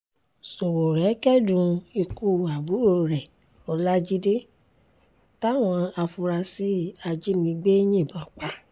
ṣowórẹ́ kẹ́dùn ikú àbúrò rẹ ọlajide táwọn afurasí ajínigbé yìnbọn pa